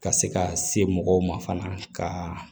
Ka se ka se mɔgɔw ma fana ka